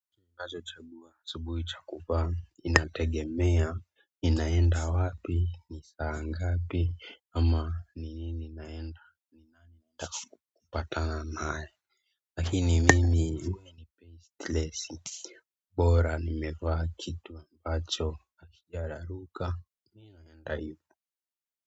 Ninacho chagua asubuhi cha kuvaa inategemea ninaenda wapi ni saa ngapi ama ni nini naenda kupatana nae lakini mimi tlesi bora nimevaa kitu ambacho hakijararuka ndaipa.